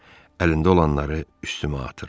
Əlində olanları üstümə atır.